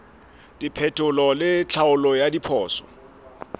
diphetolelo le tlhaolo ya diphoso